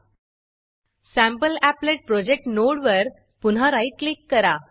सॅम्पलीपलेट sample applet project नोडवर पुन्हा right click करा